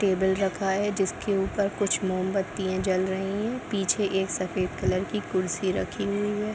table रखा है जिसके ऊपर कुछ मोमबत्ती जल रही है | पीछे एक सफ़ेद कलर की कुर्सी रखी हुई है |